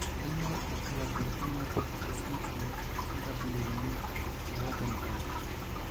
Kainyio irbulabul onaapuku esindirom enkabila euni eWaardenburg.